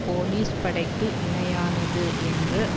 police படைக்கு இணையானது என்று